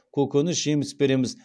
көкөніс жеміс береміз